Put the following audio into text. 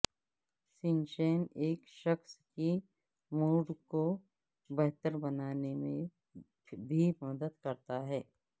sunshine ایک شخص کی موڈ کو بہتر بنانے میں بھی مدد کرتا ہے